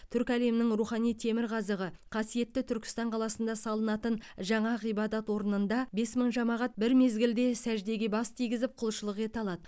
түркі әлемінің рухани темірқазығы қасиетті түркістан қаласында салынатын жаңа ғибадат орнында бес мың жамағат бір мезгілде сәждеге бас тигізіп құлшылық ете алады